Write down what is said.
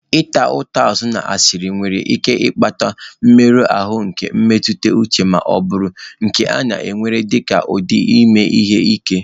Ịta ụta azụ na asịrị nwere ike ịkpata mmerụ ahụ nke mmetụta uche ma bụrụ nke a na-ewere dịka ụdị ime ihe ike